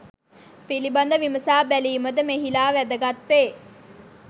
පිළිබඳ විමසා බැලීමද මෙහිලා වැදගත් වේ.